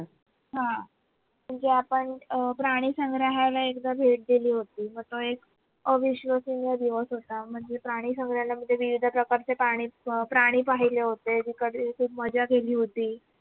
हा, म्हणजे आपण अह प्राणी संग्रहालय एकदा भेट दिली होती. त तो एक अविश्वसनीय दिवस होता. म्हणजे प्राणी संग्रहालयामध्ये विविध प्रकारचे पाणी अह प्राणी पहिले होते. तिकडे खूप मजा केली होती.